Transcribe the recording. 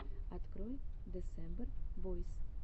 открой десембер бойс